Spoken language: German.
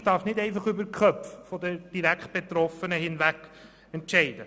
Die Politik darf nicht einfach über die Köpfe der Direktbetroffenen hinweg entscheiden.